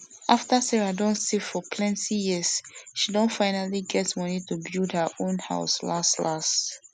afta sarah don save for plenti years she don finally get money to build her house las las